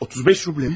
35 rubldırmı?